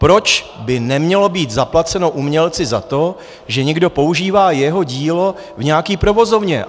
Proč by nemělo být zaplaceno umělci za to, že někdo používá jeho dílo v nějaké provozovně?